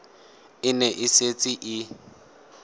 e ne e setse e